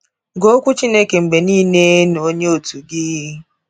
Gụọ Okwu Chineke mgbe niile na onye òtù gị.